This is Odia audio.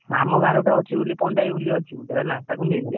ଆମ ଗାଁରେ ଗୋଟେ ଅଛି ବୋଲି ପଣ୍ଡା ଭାଇ ବୋଲି ଅଛି ଜାଣିଛୁ? ତାକୁ ନେଇଯିବା।